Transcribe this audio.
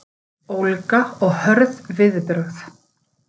Ólga og hörð viðbrögð